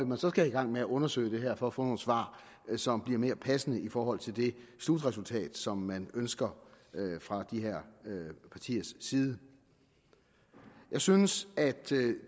man så skal i gang med at undersøge det her for at få nogle svar som bliver mere passende i forhold til det slutresultat som man ønsker fra de partiers side jeg synes at